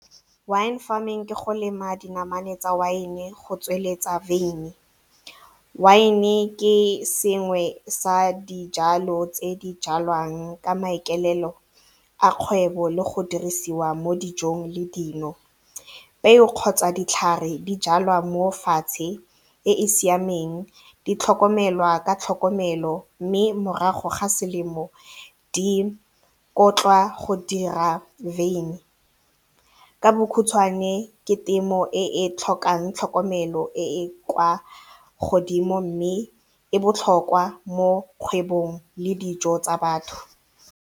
Wine farming ke go lema dinamane tsa wine go tsweletsa veine, wine ke sengwe sa dijalo tse di jalwang ka maikaelelo a kgwebo le go dirisiwa mo dijong le dino. Peo kgotsa ditlhare di jalwa mo fatshe e e siameng di tlhokomelwa ka tlhokomelo mme morago ga selemo di otlwa go dira veine, ka bokhutshwane ke temo e e tlhokang tlhokomelo e e kwa godimo mme e botlhokwa mo kgwebong le dijo tsa batho.